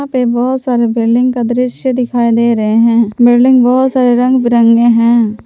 बहुत सारे बिल्डिंग का दृश्य दिखाई दे रहे हैं बिल्डिंग रंग बिरंगे हैं।